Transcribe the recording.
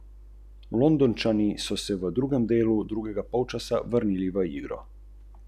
Je to realna ocena?